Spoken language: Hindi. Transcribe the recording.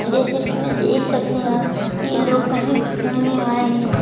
जैसे कि मैं देख सकती हूं ये लोग कहीं घूमने आए हैं।